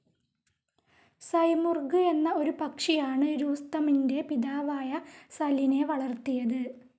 Simurgh എന്ന ഒരു പക്ഷിയാണ് രൂസ്തമിൻ്റെ പിതാവായ സലൈൻ വളർത്തിയത്.